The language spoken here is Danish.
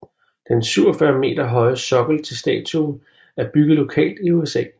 Den 47 meter høje sokkel til statuen er bygget lokalt i USA